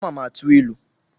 Ama m atụ ilu